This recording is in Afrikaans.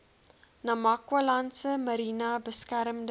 namakwalandse mariene beskermde